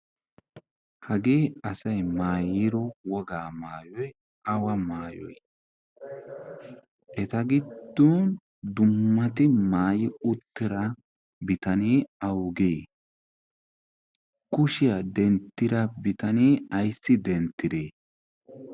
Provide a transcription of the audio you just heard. hagee asay maayiyo wogaa maayoy awa maayoy eta giddon dummati maayi uttera bitanee awugee kushiyaa denttira bitanee ayssi denttiree